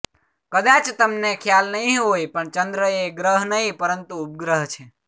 કદાચ તમને ખ્યાલ નહીં હોય પણ ચંદ્ર એ ગ્રહ નહીં પરંતુ ઉપગ્રહ છે